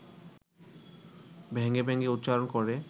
ভেঙে ভেঙে উচ্চারণ করে